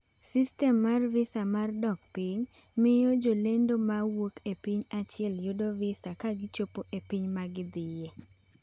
Sistem mar visa mar dok piny miyo jolendo ma wuok e piny achiel yudo visa ka gichopo e piny ma gidhie.